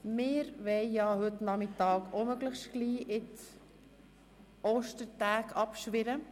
Wir wollen heute Nachmittag auch möglichst rasch in die Ostertage abschwirren.